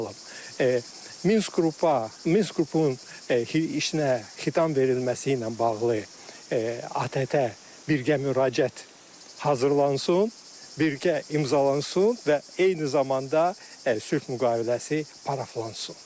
Tutalım, Minsk qrupu, Minsk qrupunun işinə xitam verilməsi ilə bağlı, ATƏT birgə müraciət hazırlansın, birgə imzalansın və eyni zamanda sülh müqaviləsi paraflansın.